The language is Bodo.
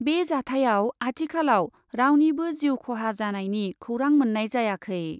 बे जाथाइयाव आथिखालाव रावनिबो जिउ खहा जानायनि खौरां मोन्नाय जायाखै।